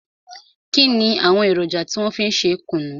Kínni àwọn èròjà tí wọn fi ń ṣe kùnú?